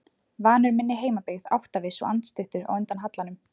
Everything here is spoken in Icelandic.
Vanur minni heimabyggð, áttaviss og andstuttur á undan hallanum.